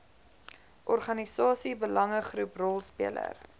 organisasie belangegroep rolspeler